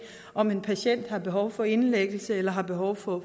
om en patient har behov for indlæggelse eller har behov for